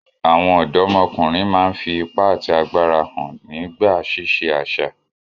Àwọn ọdọmọkunrin máa n fi ipa àti agbára hàn nígbà ṣiṣẹ àṣà.